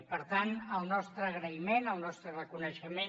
i per tant el nostre agraïment el nostre reconeixement